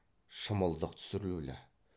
шымылдық түсірулі